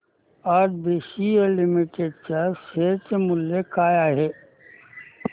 आज BCL limited च्या share चे मूल्य काय आहे